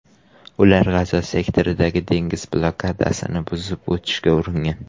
Ular G‘azo sektoridagi dengiz blokadasini buzib o‘tishga uringan.